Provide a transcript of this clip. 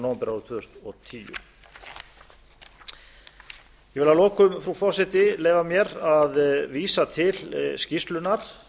nóvember tvö þúsund og tíu ég vil að lokum frú forseti leyfa mér að vísa til skýrslunnar